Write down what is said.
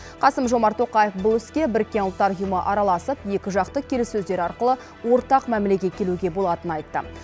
қасым жомарт тоқаев бұл іске біріккен ұлттар ұйымы араласып екіжақты келіссөздер арқылы ортақ мәмілеге келуге болатынын айтты